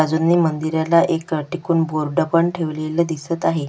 बाजूनी मंदिराला एक टेकून बोर्ड पण ठेवलेला दिसत आहे.